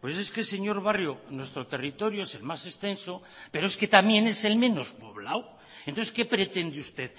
pues es que señor barrio nuestro territorio es el más extenso pero es que también es el menos poblado entonces qué pretende usted